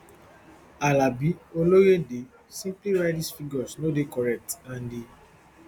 alabioloyde simply write dis figures no dey correct and e